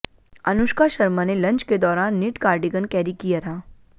अनुष्का शर्मा ने लंच के दौरान निट कार्डिगन कैरी किया था